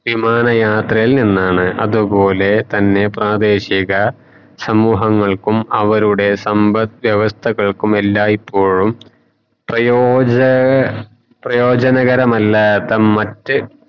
വിമാന യാത്രയിൽ നിന്നാണ് അതുപോലെ തന്നെ പ്രതേഷിക സമൂഹങ്ങൾക്കും അവരുടെ സമ്പത് വ്യവസ്ഥകൾക്കും എല്ലായിപ്പോഴും പ്രയോജ പ്രയോചനകരമല്ലാത്ത മറ്റ് വിമാന യാത്രയിൽ നിന്നാണ്